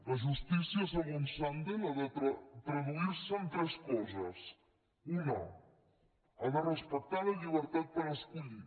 la justícia segons sandel ha de traduir se en tres coses una ha de respectar la llibertat per escollir